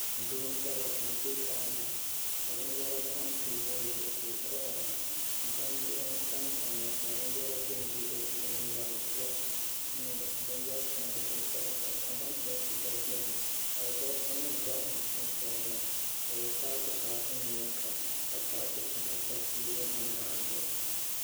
Doo m-bala ka o be daa ni binyɛra tam teebuli zuɣu ka o kɔhira gbambihi n-tamtam ya ka binyɛra be m-be di puuni nyaadua ni binyɛr' shɛŋa din pahipahi kamantoosi gba beni alibalisanima gba m-papaya maa ka bɛ paakipaaki nyuya sɔŋ ka paaki shɛŋa pa teebulinima maa zuɣu